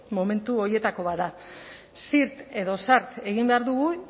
momentu horietako bat da zirt edo zart egin behar dugu